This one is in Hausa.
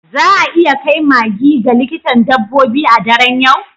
Za a iya kai maggie ga likitan dabbobi a daren yau?